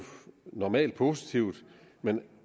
normalt positivt men